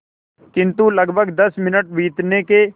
किंतु लगभग दस मिनट बीतने के